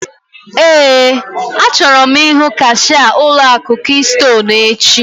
Éè, achọrọ m ihu kashia ụlọ akụ kistonu echi